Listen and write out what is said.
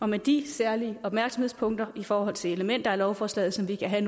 med de særlige opmærksomhedspunkter i forhold til elementer i lovforslaget som vi kan have